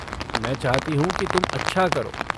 मैं चाहती हूँ कि तुम अच्छा करो।